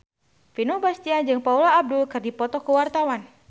Vino Bastian jeung Paula Abdul keur dipoto ku wartawan